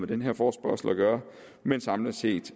den her forespørgsel at gøre men samlet set